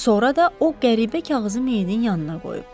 Sonra da o qəribə kağızı meydin yanına qoyub.